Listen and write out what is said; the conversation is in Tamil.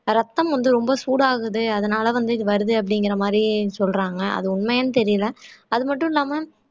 ரத்தம் வந்து ரொம்ப சூடாகுது அதனால வந்து இது வருது அப்படிங்கற மாதிரி சொல்றாங்க அது உண்மையான்னு தெரியலே அது மட்டும் இல்லாம